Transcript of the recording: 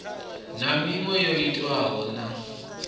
na miṅwe yo itwaho na